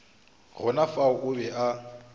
gona fao o be a